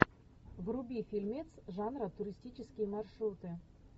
вруби фильмец жанра туристические маршруты